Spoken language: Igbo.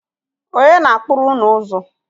Ọnye na-akpụrụ ụnụ ụzụ?